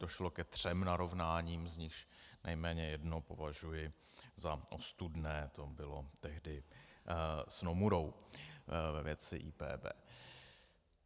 Došlo ke třem narovnáním, z nichž nejméně jedno považuji za ostudné, to bylo tehdy s Nomurou ve věci IPB.